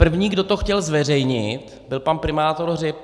První, kdo to chtěl zveřejnit, byl pan primátor Hřib.